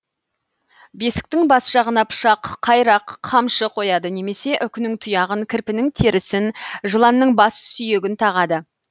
бесіктің бас жағына пышақ қайрақ қамшы қояды немесе үкінің тұяғын кірпінің терісін жыланның бас сүйегін тағады